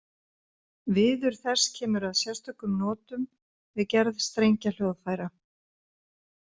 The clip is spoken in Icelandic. Viður þess kemur að sérstökum notum við gerð strengjahljóðfæra.